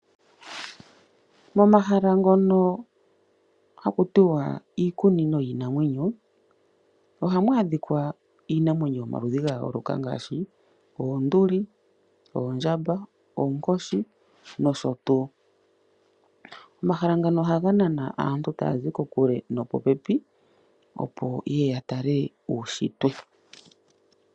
Momahala ngono haku tiwa iikunino yiinanwenyo , ohamu adhika iinamwenyo yomaludhi gayooloka ngaashi oonduli, oondjamba, oonkoshi noshotuu . Omahala ngano ohaga nana aantu taya zi popepi nokokule opo yeye yatale uunshitwe.